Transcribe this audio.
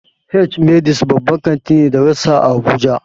H-medix babban kanti ne da rassa a habuja.